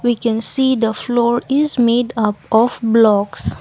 we can see the floor is made up of blocks.